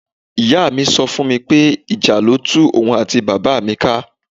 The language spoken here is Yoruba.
Ìyá mi so fún mi pé ìjà ló tú òun àti bàbá mi ká.